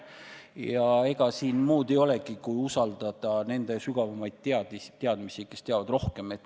Ja ega siin muud teha olegi, kui usaldada nende sügavamaid teadmisi, kes teavad rohkem.